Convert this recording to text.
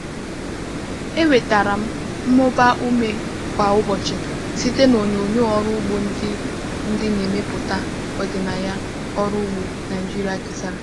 Enwetara m mmụba ume kwa ụbọchị site na onyonyo ọrụ ugbo ndị ndị na-emepụta ọdịnaya ọrụ ugbo Naịjirịa kesara.